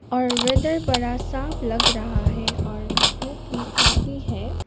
और वेदर बड़ा साफ लग रहा है और धूप भी काफी है।